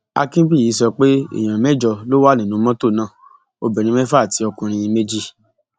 akínbíyì sọ pé èèyàn mẹjọ ló wà nínú mọtò náà obìnrin mẹfà àti ọkùnrin méjì